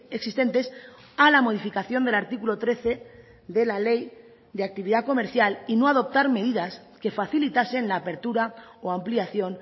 existentes a la modificación del artículo trece de la ley de actividad comercial y no adoptar medidas que facilitasen la apertura o ampliación